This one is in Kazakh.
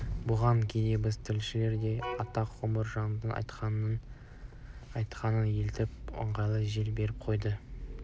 бұған кейде біздің тілшілер де атақ құмар жандардың айтқанына елтіп өздерінің аңғырттығымен жел беріп қояды